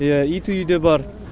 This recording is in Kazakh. ия иті үйде бар